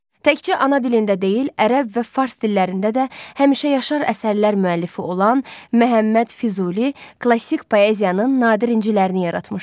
Təkcə ana dilində deyil, ərəb və fars dillərində də həmişə yaşar əsərlər müəllifi olan Məhəmməd Füzuli klassik poeziyanın nadir incilərini yaratmışdı.